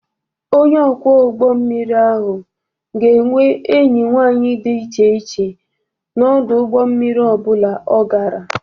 Onye ọkwọ ụgbọ mmiri ahụ ga-enwe enyi nwanyị dị iche iche na ọdụ ụgbọ mmiri ọ bụla ọ gara.